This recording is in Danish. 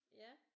Ja